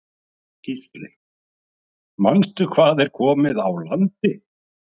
Gísli: Manstu hvað er komið á landi?